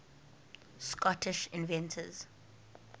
scottish inventors